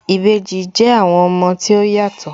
Ìbejì jẹ́ àwọn ọmọ tí ó yàtọ̀